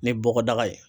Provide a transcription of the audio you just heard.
Ni bɔgɔdaga ye